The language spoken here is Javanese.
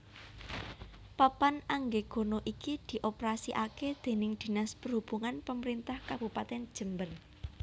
Papan Anggegana iki dioperasikake déning Dinas Perhubungan Pemerintah Kabupatèn Jember